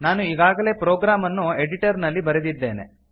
ನಾನು ಈಗಾಗಲೇ ಪ್ರೊಗ್ರಾಮ್ ಅನ್ನು ಎಡಿಟರ್ ನಲ್ಲಿ ಬರೆದಿದ್ದೇನೆ